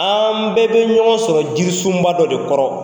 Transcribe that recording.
An bɛɛ bɛ ɲɔgɔn sɔrɔ jirisun ba dɔ de kɔrɔ.